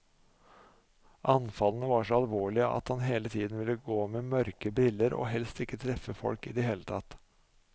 Anfallene var så alvorlige at han hele tiden ville gå med mørke briller og helst ikke treffe folk i det hele tatt.